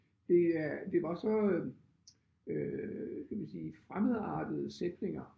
Det øh det var så øh kan man sige fremmedartede sætninger